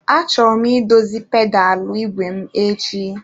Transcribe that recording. Achọrọ m idozi pedalụ n'ìgwè m echi.